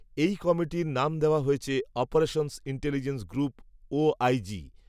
এই কমিটির নাম দেওয়া হয়েছে অপারেশনস ইন্টেলিজেন্স গ্রুপ ওআইজি